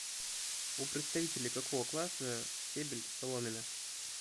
у представителей какого класса стебель соломина